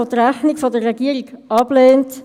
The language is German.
Wir kommen zur Finanzdebatte.